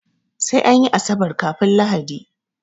Sai anyi asabar kafun lahadi